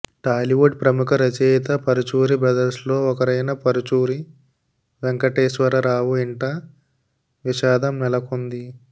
టాలీవుడ్ ప్రముఖ రచయిత పరుచూరి బ్రదర్స్లో ఒకరైన పరుచూరి వెంకటేశ్వరరావు ఇంట విషాదం నెలకొంది